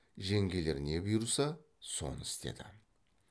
жеңгелер не бұйырса соны істеді